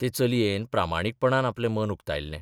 ते चलयेन प्रामाणीकपणान आपले मत उक्तायल्लें.